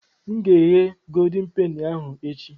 M ga-eghe goldin peni ahụ echi.